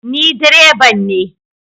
Ni direban ne